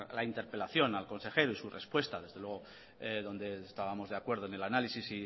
la interpelación al consejero y su respuesta desde luego donde estábamos de acuerdo en el análisis